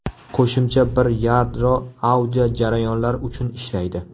Qo‘shimcha bir yadro audio jarayonlar uchun ishlaydi.